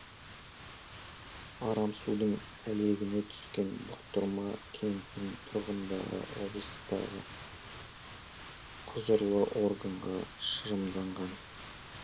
арам судың әлегіне түскен бұқтырма кентінің тұрғындары облыстағы құзырлы органға шығымданған